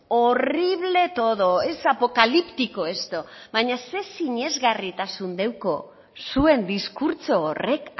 horrible todo es apocalíptico esto baina zer sinesgarritasun deuko zuen diskurtso horrek